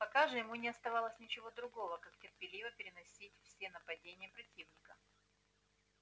пока же ему не оставалось ничего другого как терпеливо переносить все нападения противника